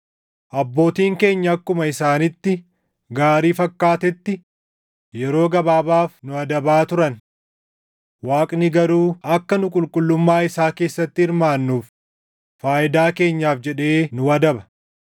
Abbootiin keenya akkuma isaanitti gaarii fakkaatetti yeroo gabaabaaf nu adabaa turan; Waaqni garuu akka nu qulqullummaa isaa keessatti hirmaannuuf faayidaa keenyaaf jedhee nu adaba.